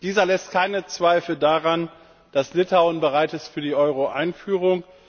Dieser lässt keine Zweifel daran, dass Litauen bereit ist für die Euro Einführung.